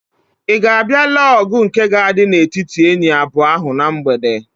Ị ga-abịa lee ọgụ nke ga-adị n'etiti enyi abụọ ahụ na mgbede?